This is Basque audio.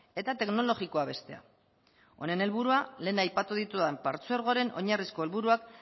eta teknologikoa bestea honen helburua lehen aipatu ditudan partzuergoren oinarrizko helburuak